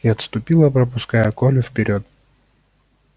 и отступила пропуская колю вперёд